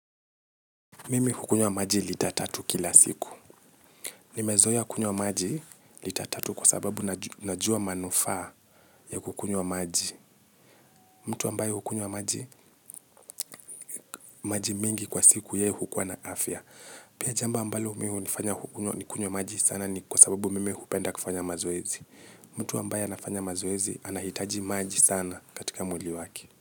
Mimi hukunywa maji lita tatu kila siku. Nimezoea kunywa maji lita tatu kwa sababu najua manufaa ya kukunywa maji. Mtu ambaye hukunywa maji, maji mengi kwa siku yeye hukua na afya. Pia jambo ambalo mimi hunifanya nikunywe maji sana ni kwa sababu mimi hupenda kufanya mazoezi. Mtu ambaye anafanya mazoezi anahitaji maji sana katika mwili wake.